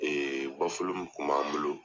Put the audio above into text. Ee mun kun b'an bolo